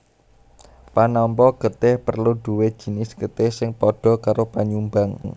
Panampa getih perlu duwé jinis getih sing padha karo panyumbang